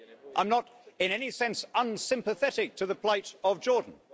I'm not in any sense unsympathetic to the plight of Jordan.